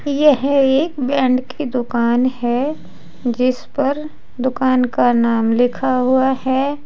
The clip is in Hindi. यह एक बैंड की दुकान है जिस पर दुकान का नाम लिखा हुआ है।